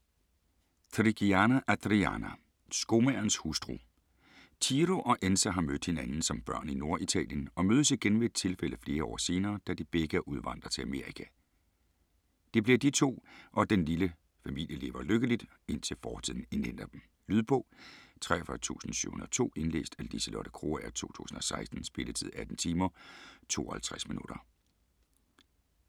Trigiani, Adriana: Skomagerens hustru Ciro og Enza har mødt hinanden som børn i Norditalien og mødes igen ved et tilfælde flere år senere, da de begge er udvandret til Amerika. Det bliver de to, og den lille familie lever lykkeligt, indtil fortiden indhenter dem. Lydbog 43702 Indlæst af Liselotte Krogager, 2016. Spilletid: 18 timer, 52 minutter.